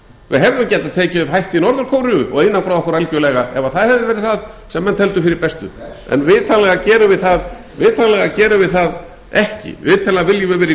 við hefðum getað tekið upp hætti norður kóreu og einangrað okkur algerlega ef það hefði verið það sem menn töldu fyrir bestu en vitanlega gerum við það ekki vitanlega viljum við vera í